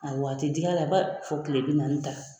Awɔ a tɛ dig'a la, fo kile bi naani ta.